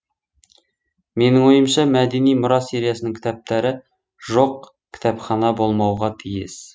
менің ойымша мәдени мұра сериясының кітаптары жоқ кітапхана болмауға тиіс